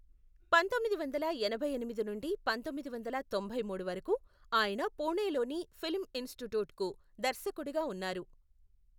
పంతొమ్మిది వందల ఎనభై ఎనిమిది నుండి పంతొమ్మిది వందల తొంభై మూడు వరకు, ఆయన పూణేలోని ఫిల్మ్ ఇన్స్టిట్యూట్కు దర్శకుడిగా ఉన్నారు.